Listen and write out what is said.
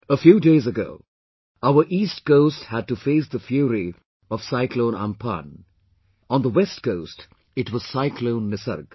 A few days ago, our east coast had to face the fury of cyclone Amphan; on the West coast it was cyclone Nisarg